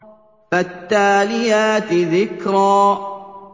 فَالتَّالِيَاتِ ذِكْرًا